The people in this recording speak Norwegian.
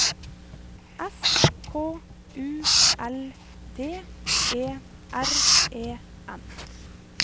S K U L D E R E N